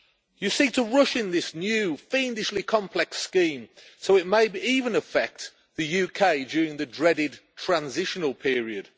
You seek to rush in this new, fiendishly complex scheme so it may even affect the UK during the dreaded transitional period.